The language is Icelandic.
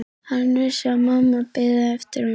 Hann vissi að mamma biði eftir honum.